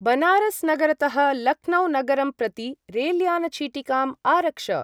बनारस्-नगरतः लक्नौ-नगरं प्रति रेल्यान-चीटिकाम् आरक्ष।